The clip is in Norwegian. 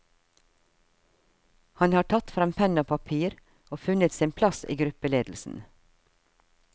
Han har tatt frem penn og papir og funnet sin plass i gruppeledelsen.